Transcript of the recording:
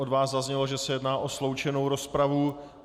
Od vás zaznělo, že se jedná o sloučenou rozpravu.